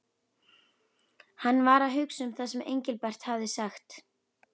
Hann var að hugsa um það sem Engilbert hafði sagt.